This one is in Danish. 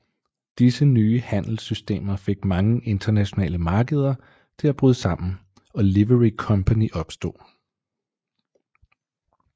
Disse nye handelssystemer fik mange internationale markeder til at bryde sammen og Livery Company opstod